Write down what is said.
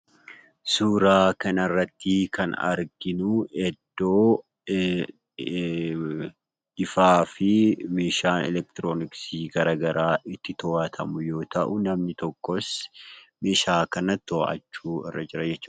Suuraa kanarratti kan arginu iddoo ifaa fi meeshaa elektirooniksii garagaraa itti to'atamu yoo ta'u namni tokkos meeshaa kana to'achuurra jira jechuudha.